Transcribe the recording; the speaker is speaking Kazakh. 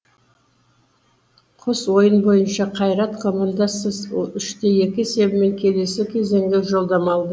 қос ойын бойынша қайрат командасы үште екі есебімен келесі кезеңге жолдама алды